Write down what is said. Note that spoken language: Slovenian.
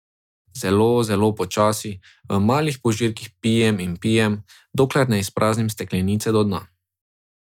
Zelo, zelo počasi, v malih požirkih pijem in pijem, dokler ne izpraznim steklenice do dna.